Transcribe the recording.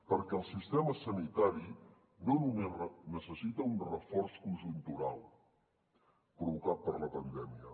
perquè el sistema sanitari no només necessita un reforç conjuntural provocat per la pandèmia